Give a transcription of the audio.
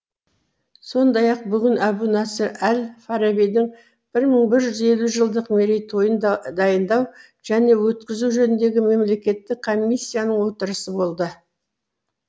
сондай ақ бүгін әбу насыр әл фарабидің бір мың бір жүз елу жылдық мерейтойын дайындау және өткізу жөніндегі мемлекеттік комиссияның отырысы болды